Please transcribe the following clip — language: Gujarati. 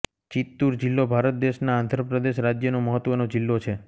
ચિત્તૂર જિલ્લો ભારત દેશના આંધ્ર પ્રદેશ રાજ્યનો મહત્વનો જિલ્લો છે